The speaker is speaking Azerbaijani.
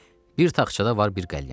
Bir taxçada var bir qəlyan.